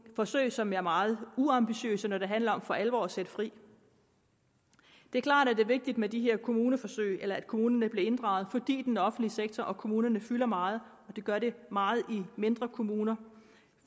forsøg som er meget uambitiøse når det handler om for alvor at sætte fri det er klart at det er vigtigt med de her kommuneforsøg eller at kommunerne bliver inddraget fordi den offentlige sektor og kommunerne fylder meget det gør de meget i mindre kommuner